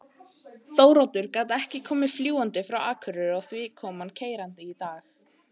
Þóroddur gat ekki komið fljúgandi frá Akureyri og því kom hann keyrandi í dag.